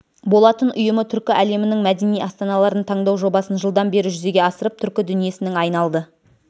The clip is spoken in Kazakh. болатын ұйымы түркі әлемінің мәдени астаналарын таңдау жобасын жылдан бері жүзеге асырып түркі дүниесінің айналды